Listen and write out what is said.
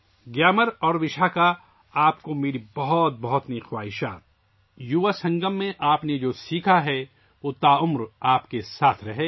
گیامر اور وشاکھا کے لیے میری بہت بہت نیک خواہشات ، جو کچھ آپ نے یووا سنگم میں سیکھا ہے وہ ساری زندگی آپ کے ساتھ رہے